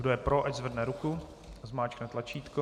Kdo je pro, ať zvedne ruku a zmáčkne tlačítko.